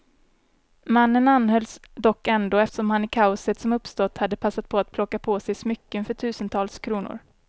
Mannen anhölls dock ändå, eftersom han i kaoset som uppstått hade passat på att plocka på sig smycken för tusentals kronor.